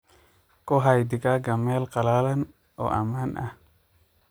Ku hay digaaga meel qalalan oo ammaan ah.